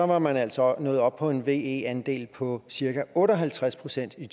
var man altså nået op på en ve andel på cirka otte og halvtreds procent i